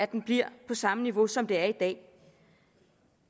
den bliver på samme niveau som den er i dag